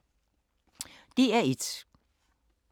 DR1